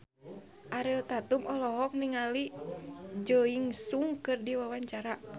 Ariel Tatum olohok ningali Jo In Sung keur diwawancara